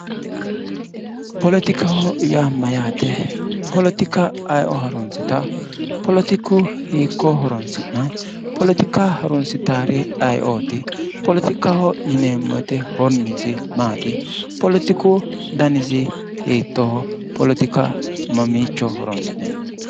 politika:-politikaho yaa mayaate politika ayioo harunssitawopoletika hiiko horoonsi'nayi politika harunssitaari ayiooti politikaho yineemmo woyite horiynissi maati politiku danissi hitooho politika mamiicho horoonsi'neemmo